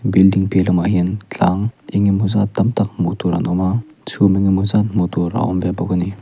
building piah lamah hian tlang enge maw zat tam tak hmuh tur an awm a chhum enge maw zat hmuh tur a awm ve bawk a ni.